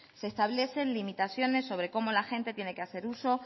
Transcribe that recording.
se establecen limitaciones sobre cómo la gente tiene que hacer uso